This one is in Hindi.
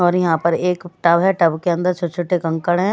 और यहाँ पर एक टब है टब के अंदर छोटे-छोटे कंकड़ हैं --